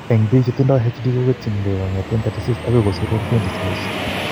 Eng' biik chetindo HD, ko ketyin ke kong'eten 36 ako kosir 120 saaisiek.